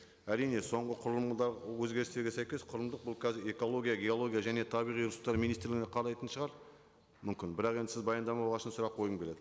әрине соңғы құрылымдағы өзгерістерге сәйкес құрылымдық бұл қазір экология геология және табиғи ресурстар министрлігіне қарайтын шығар мүмкін бірақ енді сіз баяндама болған үшін сұрақ қойғым келеді